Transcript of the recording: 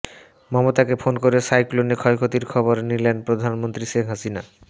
মমতাকে ফোন করে সাইক্লোনে ক্ষয়ক্ষতির খবর নিলেন প্রধানমন্ত্রী শেখ হাসিনা